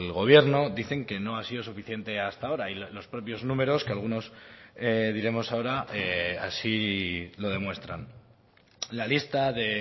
gobierno dicen que no ha sido suficiente hasta ahora y los propios números que algunos diremos ahora así lo demuestran la lista de